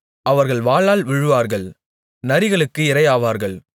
அவர்கள் வாளால் விழுவார்கள் நரிகளுக்கு இரையாவார்கள்